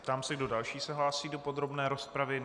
Ptám se, kdo další se hlásí do podrobné rozpravy.